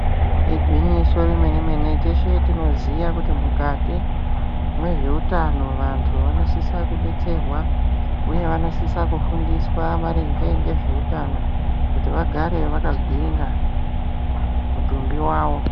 Igwinyiso remene-menene teshe tinoziya kuti mukati mwezveutano vantu vanosise kudetserwa uye vanosise kufundiswa maringe ngezveutano kuti vagare vakagwinya mitumbi wavo.